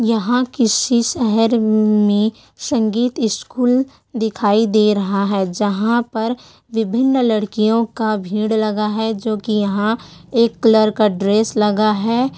यहाँ किसी शहर में संगीत स्कूल दिखाई दे रहा है जहाँ पर विभिन्न लड़कीओ का भीड़ लगा है जो की यहाँ एक कलर का ड्रेस लगा है।